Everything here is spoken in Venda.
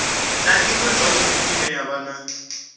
na iṅwe zwavhudi ine ya